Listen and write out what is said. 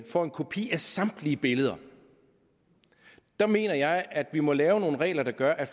får en kopi af samtlige billeder der mener jeg at vi må lave nogle regler der gør at